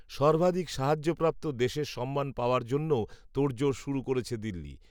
সর্বাধিক সাহায্যপ্রাপ্ত দেশের সম্মান পাওয়ার জন্যও, তোড়জোড় শুরু করেছে দিল্লি